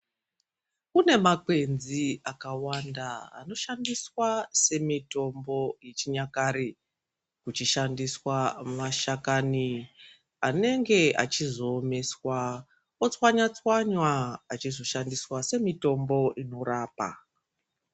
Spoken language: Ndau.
Kune makwenzi akawanda anoshandiswa semitombo yechinyakare kuchishandisqa mashakani anenge achizoomeswa ochwanywa chwanywa achizoshandisqa semitombo inorapa.